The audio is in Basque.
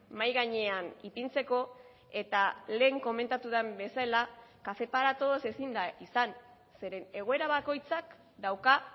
mahai gainean ipintzeko eta lehen komentatu den bezala café para todos ezin da izan zeren egoera bakoitzak dauka